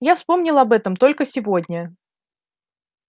я вспомнил об этом только сегодня